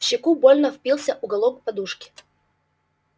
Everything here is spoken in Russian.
в щеку больно впился уголок подушки